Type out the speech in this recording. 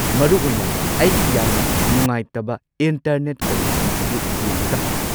ꯃꯔꯨꯑꯣꯏꯅ ꯑꯩꯒꯤ ꯌꯥꯝꯅ ꯅꯨꯡꯉꯥꯏꯇꯕ ꯏꯟꯇꯔꯅꯦꯠ ꯀꯅꯦꯛꯁꯟ ꯑꯗꯨ ꯌꯦꯡꯂꯒ꯫